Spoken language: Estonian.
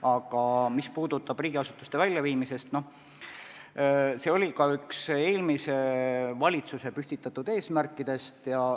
Aga mis puudutab riigiasutuste väljaviimist, siis see oli ka üks eelmise valitsuse püstitatud eesmärkidest.